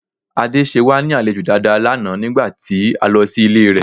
Ade ṣe wá ní àlejò dáadáa lánàá nígbà tí a lọ sí ilé rẹ̀